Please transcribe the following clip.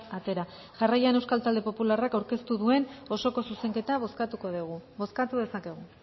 atera jarraian euskal talde popularrak aurkeztu duen osoko zuzenketa bozkatuko dugu bozkatu dezakegu